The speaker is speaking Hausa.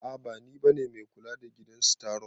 A'a bani bane mai kula da gidan staron.